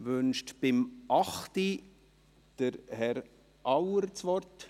Wünscht Herr Auer zum Traktandum 8 das Wort?